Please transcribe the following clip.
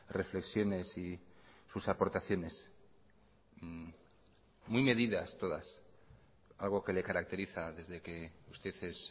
reflexiones y sus aportaciones muy medidas todas algo que le caracteriza desde que usted es